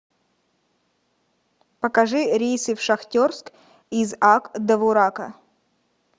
покажи рейсы в шахтерск из ак довурака